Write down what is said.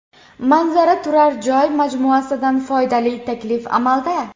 Manzara turar joy majmuasidan foydali taklif amalda.